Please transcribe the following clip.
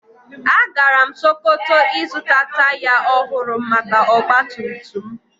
Agara m sokoto ịzụta taya ohụrụ maka ọgbatumtum m